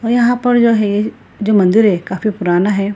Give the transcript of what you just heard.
और यहाँ पर जो है जो मंदिर है काफी पुराना है।